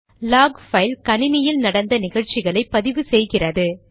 lock file கணினியில் நடந்த நிகழ்ச்சிகளை பதிவு செய்கிறது